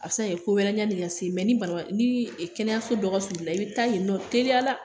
A bɛ se ka kɛ ko wɛrɛ ye hakili ka se yen, mɛ ni kɛnɛyaso dɔ ka surun i la, i bɛ taa yen nɔ teriya la!